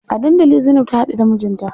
A dandali Zainab ta haɗu da mijinta.